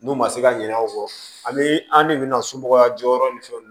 N'u ma se ka ɲinɛ aw kɔ ani an de bɛna somɔgɔya jɔyɔrɔ ni fɛnw na